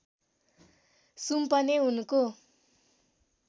सुम्पने उनको